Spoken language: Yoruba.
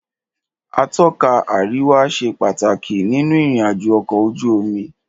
Atọ́ka àríwá ṣe pàtàkì nínú ìrìn àjò ọ̀kọ̀ ojú omi.